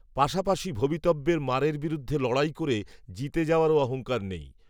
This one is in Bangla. পাশাপাশি ভবিতব্যের মারের বিরুদ্ধে লড়াই করে, জিতে যাওয়ারও অহঙ্কারও নেই